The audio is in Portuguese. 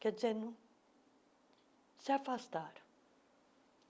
Quer dizer não, se afastaram.